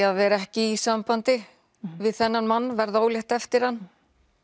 að vera ekki í sambandi við þennan mann en verða ólétt eftir hann